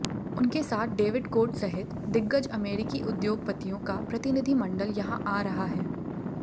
उनके साथ David Cote सहित दिग्गज अमेरिकी उद्योगपतियों का प्रतिनिधिमंडल यहां आ रहा है